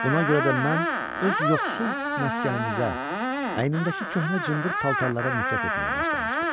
Buna görə də mən öz yoxsul məskənimizə, əynimdəki köhnə cındır paltarlara nifrət etməyə başlamışdı.